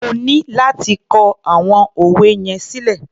O ní láti kọ àwọn òwe yẹn sílẹ̀.